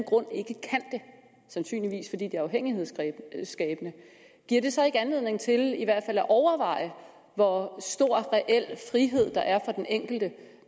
sandsynligvis fordi det er afhængighedsskabende giver det så ikke anledning til i hvert fald at overveje hvor stor reel frihed der er for den enkelte